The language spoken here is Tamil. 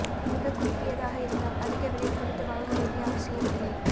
மிகக் குறுகியதாக இருந்தால் அதிக விலை கொடுத்து வாங்க வேண்டிய அவசியமில்லை